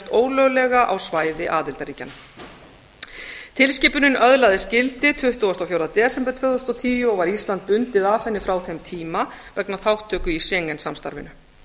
ólöglega á svæði aðildarríkjanna tilskipunin öðlaðist gildi tuttugasta og fjórða desember tvö þúsund og tíu og var ísland bundið af henni frá þeim tíma vegna þátttöku í schengen samstarfinu